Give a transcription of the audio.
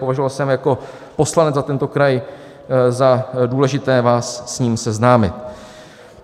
Považoval jsem jako poslanec za tento kraj za důležité vás s ním seznámit.